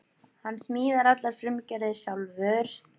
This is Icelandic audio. Hann smíðar allar frumgerðir sjálfur